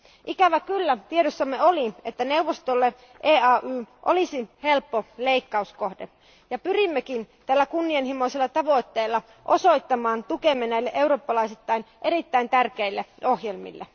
Ikävä kyllä tiedossamme oli, että neuvostolle EAY olisi helppo leikkauskohde ja pyrimmekin tällä kunnianhimoisella tavoitteella osoittamaan tukemme näille eurooppalaisittain erittäin tärkeille ohjelmille.